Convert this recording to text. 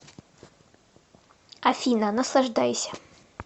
афина наслаждайся